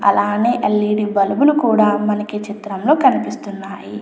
అలానే LED bulb లు కూడా మనకి చిత్రంలో కనిపిస్తున్నాయి.